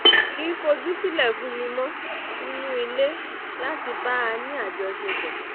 kì í fojú sílẹ̀ fún mi mọ́ nínú ilé láti bá a ní àjọṣepọ̀